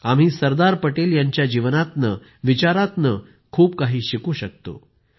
आम्ही सरदार पटेल यांच्या जीवनातनं विचारांपासून खूप काही शिकू शकतो